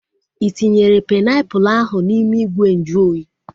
Ị tinyere painiapulu ahu n'ime ìgwè nju oyi?